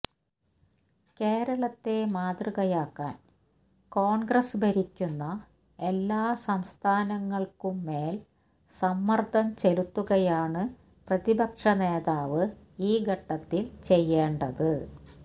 കേരളത്തെ മാതൃകയാക്കാൻ കോൺഗ്രസ് ഭരിക്കുന്ന എല്ലാ സംസ്ഥാനങ്ങൾക്കും മേൽ സമ്മർദ്ദം ചെലുത്തുകയാണ് പ്രതിപക്ഷ നേതാവ് ഈ ഘട്ടത്തിൽ ചെയ്യേണ്ടത്